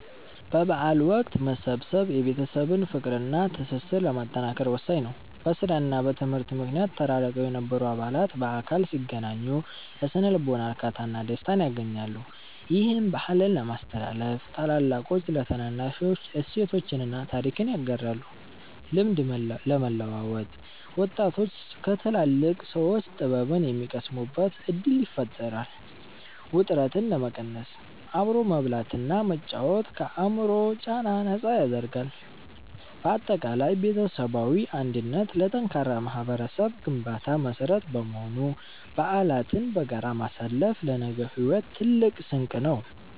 በበዓል ወቅት መሰብሰብ የቤተሰብን ፍቅርና ትስስር ለማጠናከር ወሳኝ ነው። በሥራና በትምህርት ምክንያት ተራርቀው የነበሩ አባላት በአካል ሲገናኙ የሥነ-ልቦና እርካታና ደስታን ያገኛሉ። ይህም፦ -ባህልን ለማስተላለፍ፦ ታላላቆች ለታናናሾች እሴቶችንና ታሪክን ያጋራሉ። -ልምድ ለመለዋወጥ፦ ወጣቶች ከትላልቅ ሰዎች ጥበብን የሚቀስሙበት ዕድል ይፈጥራል። -ውጥረትን ለመቀነስ፦ አብሮ መብላትና መጫወት ከአእምሮ ጫና ነፃ ያደርጋል። ባጠቃላይ ቤተሰባዊ አንድነት ለጠንካራ ማኅበረሰብ ግንባታ መሠረት በመሆኑ፣ በዓላትን በጋራ ማሳለፍ ለነገው ሕይወት ትልቅ ስንቅ ነው።